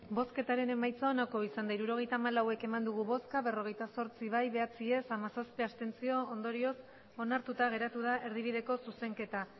emandako botoak hirurogeita hamalau bai berrogeita zortzi ez bederatzi abstentzioak hamazazpi ondorioz onartuta geratu da erdibideko zuzenketa